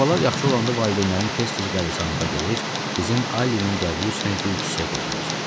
Valideynlərəm yaxşı olanda valideynlərim tez-tez qəbristanlığa gedir, bizim Allinin qəbri üstünə gül çiçək qoyurlar.